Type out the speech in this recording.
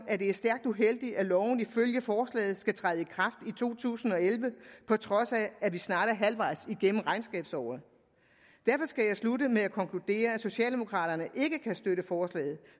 at det er stærkt uheldigt at loven ifølge forslaget skal træde i to tusind og elleve på trods af at vi snart er halvvejs igennem regnskabsåret derfor skal jeg slutte med at konkludere at socialdemokraterne ikke kan støtte forslaget